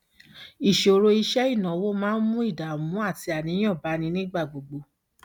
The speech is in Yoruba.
ìṣòro iṣẹ ìnáwó máa ń mú ìdààmú àti àníyàn bá ni nígbà gbogbo